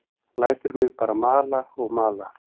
Lætur mig bara mala og mala.